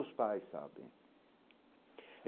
Os pais sabem.